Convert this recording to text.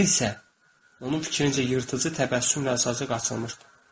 Ağzı isə onun fikrincə yırtıcı təbəssümlə zarıcı açılmışdı.